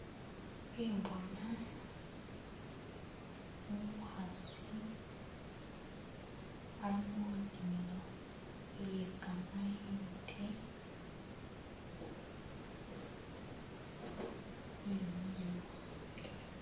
Khembona umukhasi ali munimilo iye kamayindi wemilemo